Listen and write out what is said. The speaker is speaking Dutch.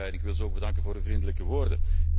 Ik wil hen ook bedanken voor de vriendelijke woorden.